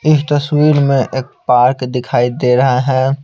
इस तस्वीर में एक पार्क दिखाई दे रहा है।